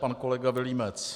Pan kolega Vilímec.